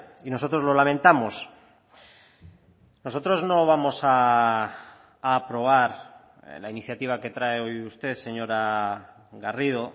y nosotros lo lamentamos nosotros no vamos a aprobar la iniciativa que trae hoy usted señora garrido